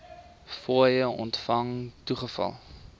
fooie ontvang toegeval